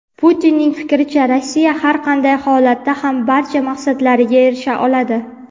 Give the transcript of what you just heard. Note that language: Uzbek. Putinning fikricha Rossiya har qanday holatda ham barcha maqsadlariga erisha oladi.